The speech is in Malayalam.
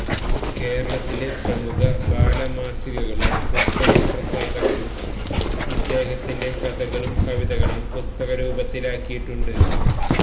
കേരളത്തിലെ പ്രമുഖ ബാലമാസികകളും പുസ്തക പ്രസാധകരും ഇദ്ദേഹത്തിന്റെ കഥകളും കവിതകളും പുസ്തകരൂപത്തിലാക്കിയിട്ടുണ്ട്